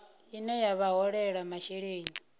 ine ya vha holela masheleni